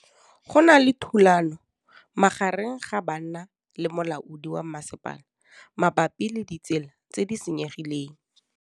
Go na le thulanô magareng ga banna le molaodi wa masepala mabapi le ditsela tse di senyegileng.